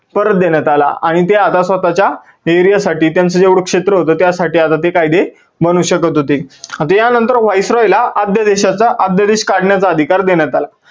परत देण्यात आला आणि ते आता स्वतःच्या area साठी त्याचं जेवढ क्षेत्र होतं त्यासाठी आता ते कायदे बनवू शकत होते. आता या नंतर viceroy ला अध्यादेशाचा, अध्यादेश काढण्याचा अधिकार देण्यात आला.